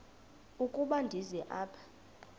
ukuba ndize apha